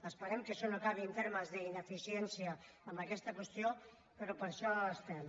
esperem que això no acabi en termes d’ineficiència en aquesta qüestió però per això estem